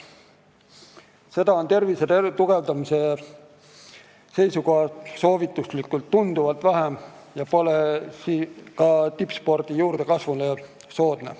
Seda on tervise tugevdamise seisukohalt soovituslikust tunduvalt vähem ja see ei soodusta ka tippsportlaste juurdekasvu.